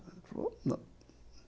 Ele falou, não.